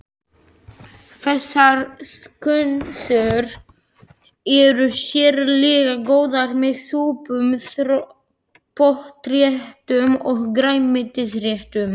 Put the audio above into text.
Þessar skonsur eru sérlega góðar með súpum, pottréttum og grænmetisréttum.